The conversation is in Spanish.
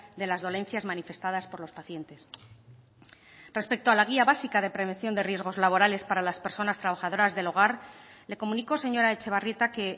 de las dolencias manifestadas por los pacientes respecto a la guía básica de prevención de riesgos laborales para las personas trabajadoras del hogar le comunico señora etxebarrieta que